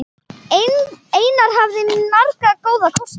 Einar hafði marga góða kosti.